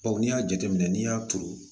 Bawo n'i y'a jateminɛ n'i y'a turu